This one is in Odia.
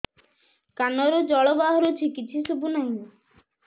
କାନରୁ ଜଳ ବାହାରୁଛି କିଛି ଶୁଭୁ ନାହିଁ